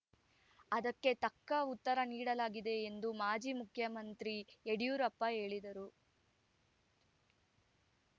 ಅದಕ್ಕೆ ತಕ್ಕ ಉತ್ತರ ನೀಡಲಾಗಿದೆ ಎಂದು ಮಾಜಿ ಮುಖ್ಯಮಂತ್ರಿ ಯಡಿಯೂರಪ್ಪ ಹೇಳಿದರು